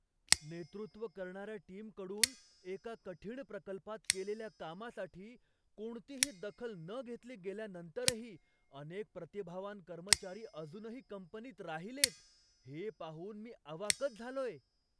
नेतृत्व करणाऱ्या टीमकडून, एका कठीण प्रकल्पात केलेल्या कामासाठी कोणतीही दखल न घेतली गेल्यानंतरही अनेक प्रतिभावान कर्मचारी अजूनही कंपनीत राहिलेत, हे पाहून मी अवाकच झालोय.